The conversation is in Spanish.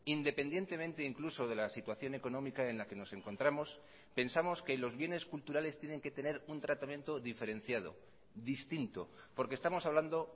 independientemente incluso de la situación económica en la que nos encontramos pensamos que los bienes culturales tienen que tener un tratamiento diferenciado distinto porque estamos hablando